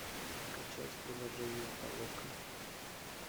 скачать приложение толока